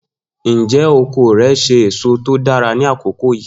Njẹ oko rẹ ṣe eso to dara ni akoko yii?